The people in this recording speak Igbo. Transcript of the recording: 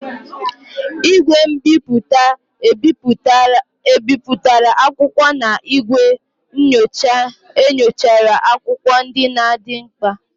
igwe mbiputa ebipụtara akwụkwọ na igwe nyocha nyochara akwụkwọ ndị dị mkpa.